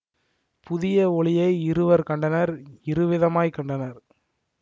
புதிய ஒளியை இருவர் கண்டனர் இருவிதமாய் கண்டனர்